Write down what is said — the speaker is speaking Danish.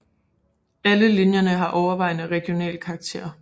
Alle linjer har overvejende regional karakter